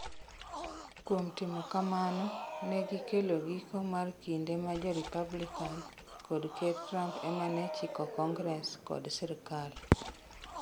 Kuom timo kamano, ne gikelo giko mar kinde ma jo Republican kod Ker Trump ema ne chiko Kongres kod sirkal.